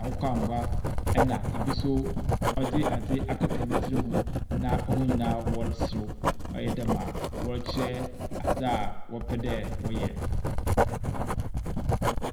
akokɔangua, ɛna bi nso dze adze akata ne tsir ho na hɔn nyinaa wɔresere. ɔayɛ dɛ ma wɔrekyerɛ adze a wɔpɛ dɛ wɔyɛ.